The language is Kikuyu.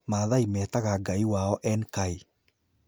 Maathai metaga Ngai wao Enkai.